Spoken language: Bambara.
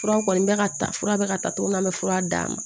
Fura kɔni bɛ ka ta fura bɛ ka ta cogo min na an bɛ fura d'a ma